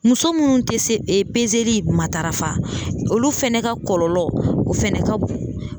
Muso minnu tɛ se matarafa olu fana ka kɔlɔlɔ o fɛnɛ ka bon